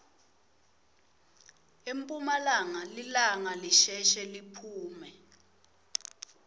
emphumalanga lilanga lisheshe liphume